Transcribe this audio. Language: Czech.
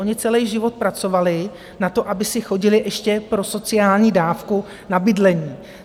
Oni celý život pracovali na to, aby se chodili ještě pro sociální dávku na bydlení.